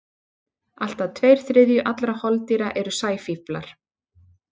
Allt að tveir þriðju allra holdýra eru sæfíflar.